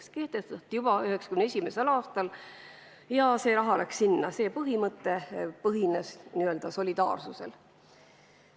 See põhimõte kehtestati juba 1991. aastal ja see raha läks sinna, see põhines n-ö solidaarsusel.